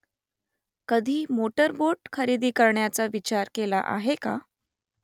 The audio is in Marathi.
कधी मोटरबोट खरेदी करण्याचा विचार केला आहे का ?